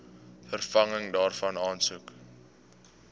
vervanging daarvan aansoek